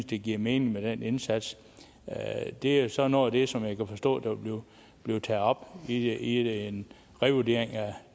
de giver mening med den indsats det er jo så noget af det som jeg kan forstå vil blive taget op i en revurdering